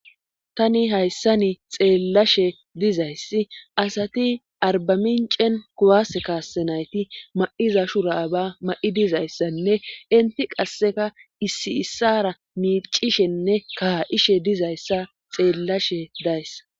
Tani hayssani xeellashe dizayssi asati arbamincen kuwase kaassenayti ma'iza shuraba ma'i dizayssanne inti qasseka issi issara miicishenne kaha'ishe dizayssa xeellashe dayssa